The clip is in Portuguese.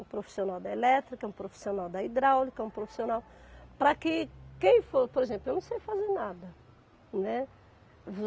Um profissional da elétrica, um profissional da hidráulica, um profissional... Para que quem for... Por exemplo, eu não sei fazer nada, né.